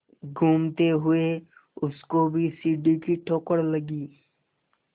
घूमते हुए उसको भी सीढ़ी की ठोकर लगी